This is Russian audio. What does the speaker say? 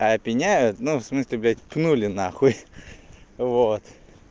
а опеняют ну в смысле блядь пнули на хуй вот